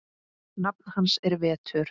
Nafn hans er Vetur.